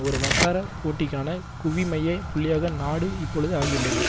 ஒரு வட்டார போட்டிக்கான குவிமைய புள்ளியாக நாடு இப்பொழுது ஆகியுள்ளது